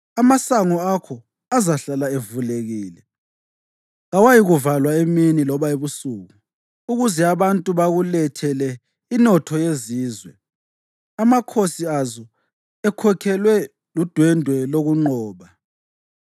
Amasango akho azahlala evulekile; kawayikuvalwa emini loba ebusuku ukuze abantu bakulethele inotho yezizwe, amakhosi azo ekhokhelwe ludwendwe lokunqoba.